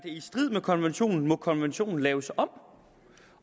i strid med konventionen må konventionen laves om